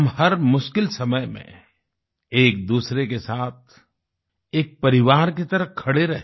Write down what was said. हम हर मुश्किल समय में एक दूसरे के साथ एक परिवार की तरह खड़े रहे